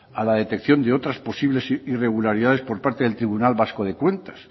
a la detección de otras posibles irregularidades por parte del tribunal vasco de cuentas